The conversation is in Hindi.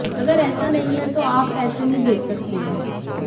अगर ऐसा नहीं है तो आप पैसे नहीं भेज सकते हैं